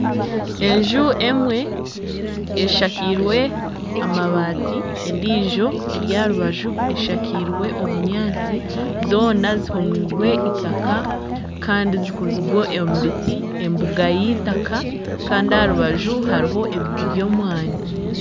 Enju emwe eshakiirwe amabaati endiijo eri aha rubaju eshakiirwe obunyatsi zoona zihomirwe eitaka Kandi zikozirwe omu biti, embuga y'eitaka Kandi aha rubaju hariho ebiti by'omwaani .